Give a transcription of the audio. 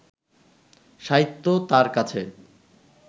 সাহিত্য তাঁর কাছে